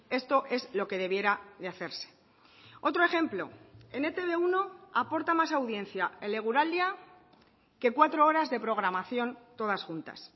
esto es lo que debiera de hacerse otro ejemplo en e te be uno aporta más audiencia el eguraldia que cuatro horas de programación todas juntas